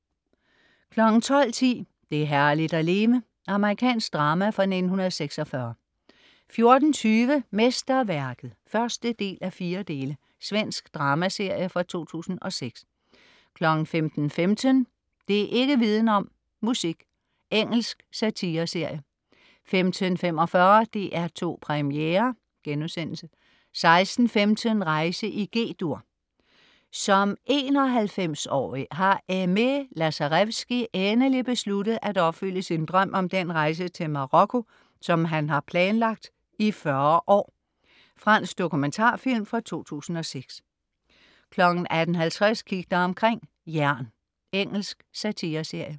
12.10 Det er herligt at leve. Amerikansk drama fra 1946 14.20 Mesterværket (1:4). Svensk dramaserie fra 2006 15.15 Det' ikk' viden om: Musik. Engelsk satireserie 15.45 DR2 Premiere* 16.15 Rejse i G-dur. Som 91-årig har Aimé Lazarevski endelig besluttet at opfylde sin drøm om den rejse til Marokko, som han har planlagt i 40 år. Fransk dokumentarfilm fra 2006 18.50 Kig dig omkring: Jern. Engelsk satireserie